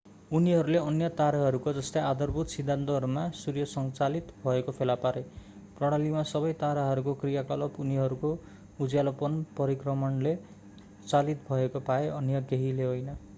उनीहरूले अन्य ताराहरूको जस्तै आधारभूत सिद्धान्तहरूमा सूर्य संचालित भएको फेला पारे प्रणालीमा सबै ताराहरूको क्रियाकलाप उनीहरूको उज्यालोपन परिक्रमणले चालित भएको पाए अन्य केहीले होइन